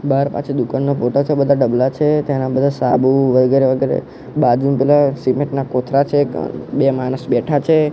બાર પાછા દુકાનના છે બધા ડબલા છે તેના બધા સાબુ વગેરે વગેરે બાજુમાં પેલા સિમેન્ટ ના કોથળા છે બે માણસ બેઠા છે.